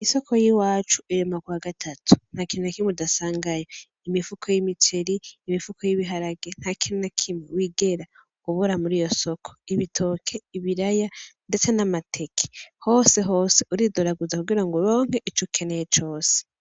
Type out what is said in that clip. Isoko yiwacu irema kuwa gatatu ntakintu nakimwe udasangayo imifuko y'imiceri; imifuko y'ibiharage ntakintu nakimwe wigera ubura muriyo soko; ibitoke; ibiraya; ndetse namateke; hose hose uridoraguza kugira ngo uronke ico ukeneye cose.